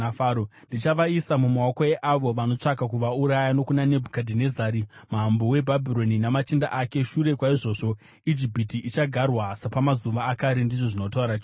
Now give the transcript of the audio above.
Ndichavaisa mumaoko eavo vanotsvaka kuvauraya, nokuna Nebhukadhinezari mambo weBhabhironi namachinda ake. Shure kwaizvozvo, Ijipiti ichagarwa sepamazuva akare,” ndizvo zvinotaura Jehovha.